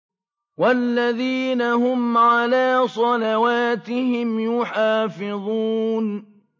وَالَّذِينَ هُمْ عَلَىٰ صَلَوَاتِهِمْ يُحَافِظُونَ